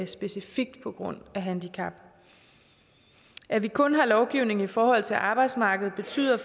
specifikt på grund af handicap at vi kun har lovgivning i forhold til arbejdsmarkedet betyder